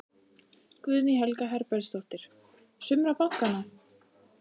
Guðný Helga Herbertsdóttir: Sumra bankanna?